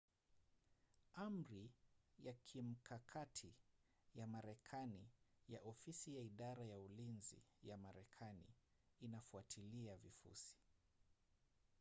amri ya kimkakati ya marekani ya ofisi ya idara ya ulinzi ya marekani inafuatilia vifusi